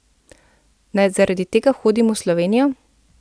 Naj zaradi tega hodim v Slovenijo?